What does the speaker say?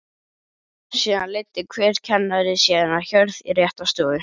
Síðan leiddi hver kennari sína hjörð í rétta stofu.